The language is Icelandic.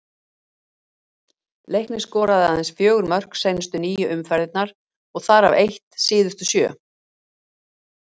Leiknir skoraði aðeins fjögur mörk seinustu níu umferðirnar og þar af eitt síðustu sjö.